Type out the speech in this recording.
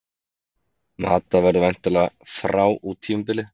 Mata verður væntanlega frá út tímabilið.